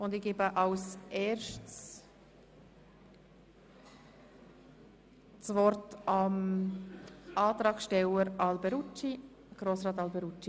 Zuerst gebe ich das Wort dem Antragsteller der glp, Grossrat Alberucci.